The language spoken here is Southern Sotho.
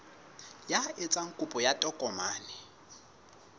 ya etsang kopo ya tokomane